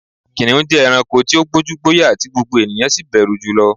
Kìnìún jẹ́ ẹranko tí ó gbójú, gbóyà tí gbogbo ènìyàn sì bẹ̀rù jùlo